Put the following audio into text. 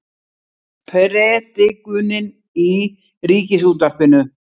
Predikunin í Ríkisútvarpinu